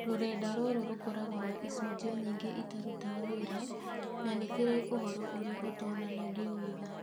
Rũrenda rũrũ rũkoragwo na icunjĩ nyingĩ itarutaga wĩra na nĩ kĩrĩ ũhoro ũrĩa ũtonanagio wega